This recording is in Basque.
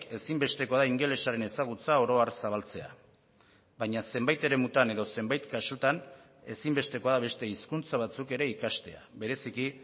ezinbestekoa da ingelesaren ezagutza oro har zabaltzea baina zenbait eremutan edo zenbait kasutan ezinbestekoa da beste hizkuntza batzuk ere ikastea bereziki